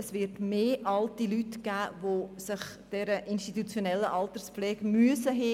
Es wird mehr alte Leute geben, die auf eine institutionelle Alterspflege angewiesen sind.